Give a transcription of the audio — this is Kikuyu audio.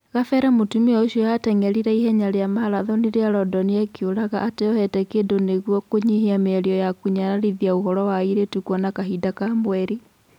Gabere mũtumia ũcio ateng'erire ihenya rĩa marathoni rĩa Randani akiũraga ateyohete kĩndũ nĩguo kũnyihia mĩario ya kũnyararithia ũhoro wa airĩtu kuona kahinda ka mweri.